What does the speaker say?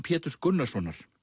Péturs Gunnarssonar